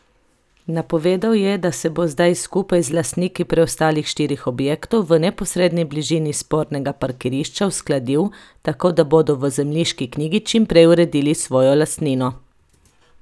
Napovedal je, da se bo zdaj skupaj z lastniki preostalih štirih objektov v neposredni bližini spornega parkirišča uskladil, tako da bodo v zemljiški knjigi čim prej uredili svojo lastnino.